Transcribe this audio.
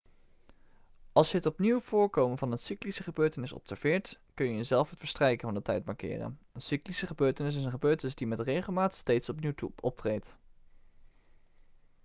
als je het opnieuw voorkomen van een cyclische gebeurtenis observeert kun je zelf het verstrijken van de tijd markeren een cyclische gebeurtenis is een gebeurtenis die met regelmaat steeds opnieuw optreedt